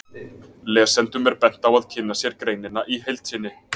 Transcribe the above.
Lesendum er bent á að kynna sér greinina í heild sinni.